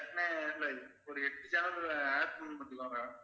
sir ஒரு எட்டு channel add